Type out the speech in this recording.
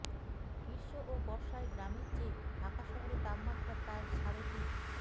গ্রীষ্ম ও বর্ষায় গ্রামের চেয়ে ঢাকা শহরের তাপমাত্রা প্রায় সাড়ে তিন